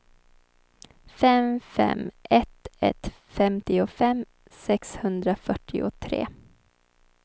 fem fem ett ett femtiofem sexhundrafyrtiotre